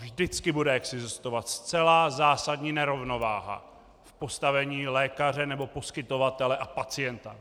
Vždycky bude existovat zcela zásadní nerovnováha v postavení lékaře nebo poskytovatele a pacienta.